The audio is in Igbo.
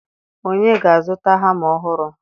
onye ga-azụta hama ọhụrụ